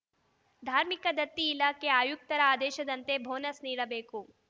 ಧಾರ್ಮಿಕ ದತ್ತಿ ಇಲಾಖೆ ಆಯುಕ್ತರ ಆದೇಶದಂತೆ ಬೋನಸ್‌ ನೀಡಬೇಕು